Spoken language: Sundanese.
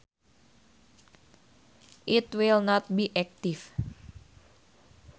It will not be active.